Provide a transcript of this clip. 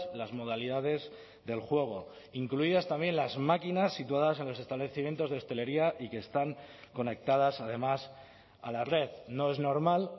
las modalidades del juego incluidas también las máquinas situadas en los establecimientos de hostelería y que están conectadas además a la red no es normal